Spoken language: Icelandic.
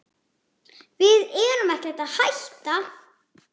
Við erum ekkert að hætta.